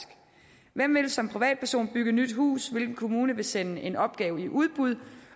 hvem vil som privatperson bygge et nyt hus hvilken kommune vil sende en opgave i udbud